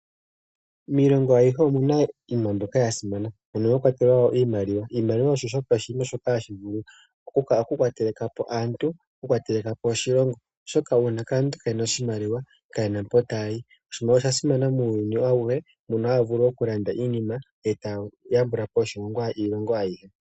Miilongo ayihe omu na iinima mbyoka ya simana mono mwa kwatelwa iimaliwa. Iimaliwa osho oshinima shoka hashi vulu okukwatela po aantu nokukwatela po oshilongo, oshoka uuna aantu kaaye na oshimaliwa kaye na mpoka taya yi. Oshimaliwa osha simana muuyuni auhe, mono haya vulu okulanda iinima e taya yambula po iilongo ayihe.